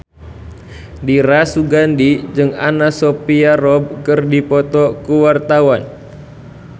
Dira Sugandi jeung Anna Sophia Robb keur dipoto ku wartawan